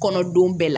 Kɔnɔdenw bɛɛ la